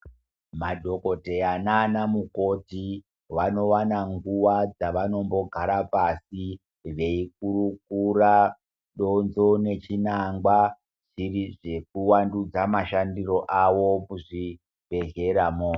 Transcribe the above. Madhokodheya nana mukoti, vanowana nguwa dzavanombogara pasi, veikurukura donzo nechinangwa zviri zvekuwandudza mashandiro awo kuzvibhedhleramo.